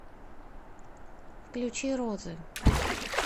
включи розы